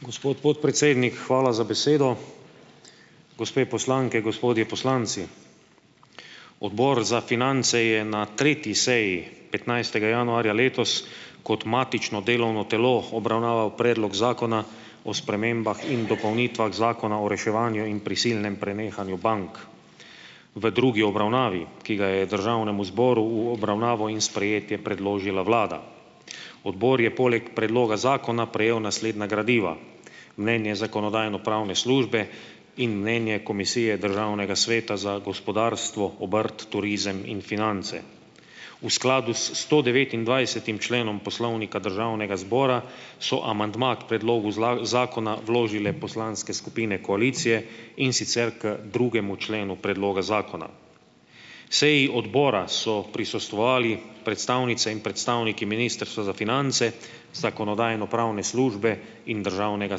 Gospod podpredsednik, hvala za besedo. Gospe poslanke, gospodje poslanci. Odbor za finance je na tretji seji petnajstega januarja letos kot matično delovno telo obravnaval predlog zakona o spremembah in dopolnitvah Zakona o reševanju in prisilnem prenehanju bank. V drugi obravnavi, ki ga je državnemu zboru v obravnavo in sprejetje predložila vlada. Odbor je poleg predloga zakona prejel naslednja gradiva: mnenje Zakonodajno-pravne službe in mnenje Komisije Državnega sveta za gospodarstvo, obrt, turizem in finance. V skladu s stodevetindvajsetim členom Poslovnika Državnega zbora, so amandma k predlogu zakona vložile poslanske skupine koalicije, in sicer k drugemu členu predloga zakona. Seji Odbora so prisostvovali predstavnice in predstavniki Ministrstva za finance, Zakonodajno-pravne službe in Državnega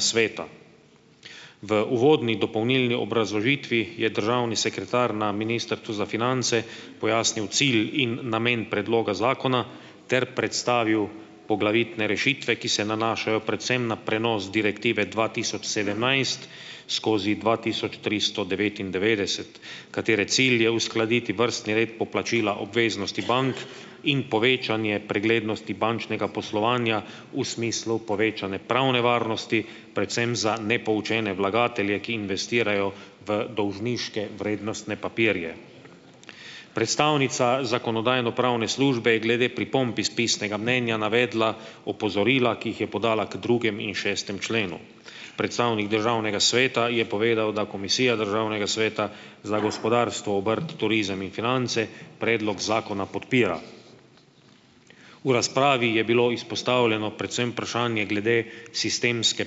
sveta. V uvodni dopolnilni obrazložitvi je državni sekretar na Ministrstvu za finance pojasnil cilj in namen predloga zakona ter predstavil poglavitne rešitve, ki se nanašajo predvsem na prenos Direktive dva tisoč sedemnajst skozi dva tisoč tristo devetindevetdeset, katere cilj je uskladiti vrstni red poplačila obveznosti bank in povečanje preglednosti bančnega poslovanja v smislu povečanja pravne varnosti predvsem za nepoučene vlagatelje, ki investirajo v dolžniške vrednostne papirje. Predstavnica Zakonodajno-pravne službe je glede pripomb iz pisnega mnenja navedla opozorila, ki jih je podala k drugem in šestem členu. Predstavnik državnega sveta je povedal, da Komisija Državnega sveta za gospodarstvo , obrt, turizem in finance predlog zakona podpira. V razpravi je bilo izpostavljeno predvsem vprašanje glede sistemske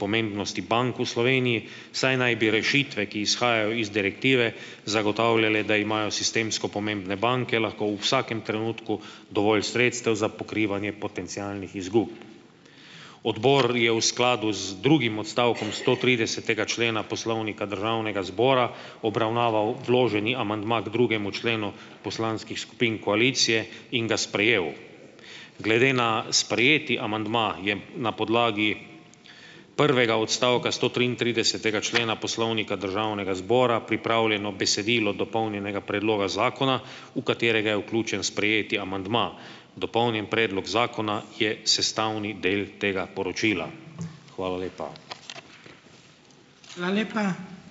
pomembnosti bank v Sloveniji, saj naj bi rešitve, ki izhajajo iz Direktive zagotavljale, da imajo sistemsko pomembne banke lahko v vsakem trenutku dovolj sredstev za pokrivanje potencialnih izgub. Odbor je v skladu z drugim odstavkom stotridesetega člena Poslovnika Državnega zbora obravnaval vloženi amandma k drugemu členu poslanskih skupin koalicije in ga sprejel. Glede na sprejeti amandma je na podlagi prvega odstavka stotriintridesetega člena Poslovnika Državnega zbora pripravljeno besedilo dopolnjenega predloga Zakona, v katerega je vključen sprejeti amandma. Dopolnjen predlog Zakona je sestavni del tega poročila. Hvala lepa. Hvala lepa. ...